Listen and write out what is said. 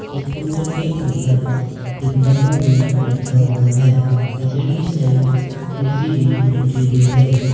इस काउंटर के ऊपर एक डब्बा भी रखा हुआ है साइड कुर्सी भी रखी हुई है।